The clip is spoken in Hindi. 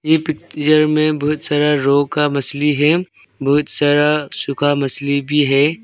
एह पिक्चर में बहुत सारा रो का मछली है बहुत सारा सूखा मछली भी है।